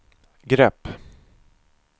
grepp